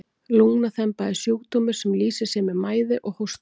lungnaþemba er sjúkdómur sem lýsir sér með mæði og hósta